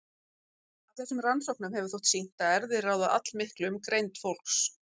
Af þessum rannsóknum hefur þótt sýnt að erfðir ráða allmiklu um greind fólks.